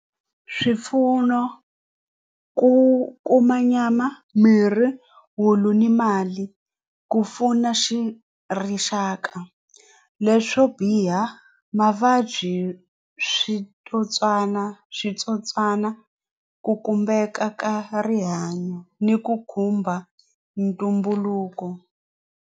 Swipfuno ku kuma nyama mirhi wulu ni mali ku pfuna xi rixaka leswo biha mavabyi switsotswana switsotswana ku khumbeka ka rihanyo ni ku khumba ntumbuluko.